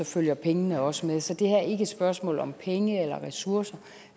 følger pengene også med så det her er ikke et spørgsmål om penge eller ressourcer